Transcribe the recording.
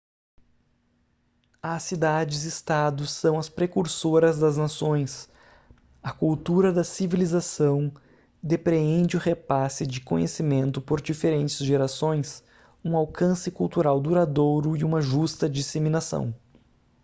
as cidades-estado são as precursoras das nações a cultura da civilização depreende o repasse de conhecimento por diferentes gerações um alcance cultural duradouro e uma justa disseminação